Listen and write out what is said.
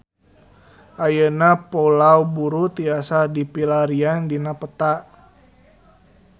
Ayeuna Pulau Buru tiasa dipilarian dina peta